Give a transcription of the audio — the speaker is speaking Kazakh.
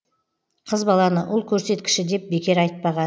қыз баланы ұл көрсеткіші деп бекер айтпаған